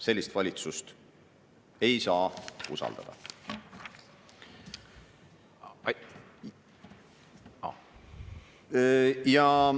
Sellist valitsust ei saa usaldada.